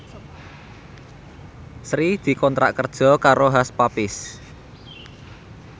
Sri dikontrak kerja karo Hush Puppies